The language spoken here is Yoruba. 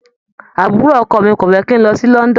Àbúrò ọkọ mi ò fẹ́ kí n lọ sí London.